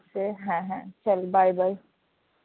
হ্যাঁ হ্যাঁ চল bye bye.